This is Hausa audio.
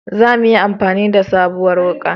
Za muyi amfani da sabuwar wuka